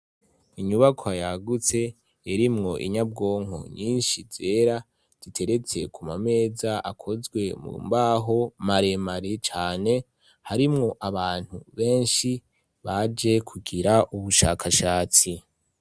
Inyubakwa yagutse irimwo inyabwonko nyinshi zera ziteretse ku mameza akozwe mu mbaho maremare cane harimwo abantu benshi baje kugira ubushakashatsi.